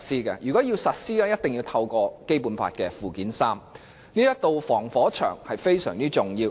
任何法例要在香港實施，必須透過《基本法》附件三，這道防火牆非常重要。